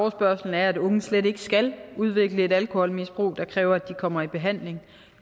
at unge slet ikke skal udvikle et alkoholmisbrug der kræver at de kommer i behandling